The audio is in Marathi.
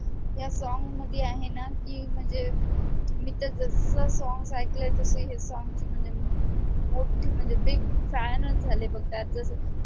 ह्या song मध्ये आहे ना की म्हणजे मी तर जसं song ऐकलंय तसं हे song ची म्हणजे मोठी म्हणजे big fan च झाले बघ त्या